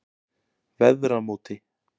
Veðramóti